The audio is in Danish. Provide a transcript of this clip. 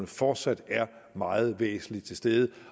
fortsat er meget væsentligt til stede